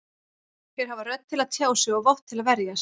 Þeir hafa rödd til að tjá sig og vopn til að verjast.